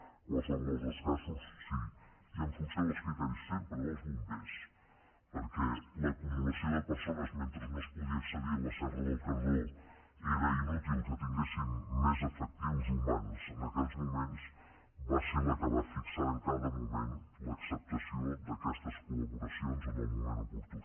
en qualsevol dels casos sí i en funció dels criteris sempre dels bombers perquè l’acumulació de persones mentre no es pogués accedir a la serra del cardó era inútil que tinguéssim més efectius humans en aquells moments va ser la que va fixar en cada moment l’acceptació d’aquestes collaboracions en el moment oportú